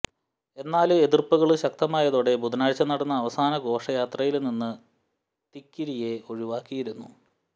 എന്നാല് എതിര്പ്പുകള് ശക്തമായതോടെ ബുധനാഴ്ച നടന്ന അവസാനഘോഷയാത്രയില് നിന്ന് തിക്കിരിയെ ഒഴിവാക്കിയിരുന്നു